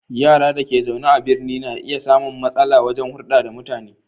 Yara da ke zaune a birni na iya samun matsala wajen hulɗa da mutane.